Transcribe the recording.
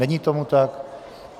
Není tomu tak.